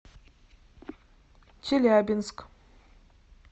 челябинск